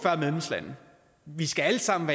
vi skal alle sammen